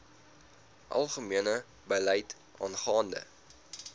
algemene beleid aangaande